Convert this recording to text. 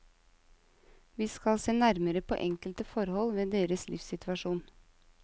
Vi skal se nærmere på enkelte forhold ved deres livssituasjon.